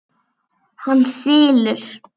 Hann þylur: